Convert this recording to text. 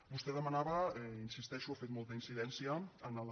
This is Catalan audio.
vostè demanava hi insisteixo ha fet molta incidència en la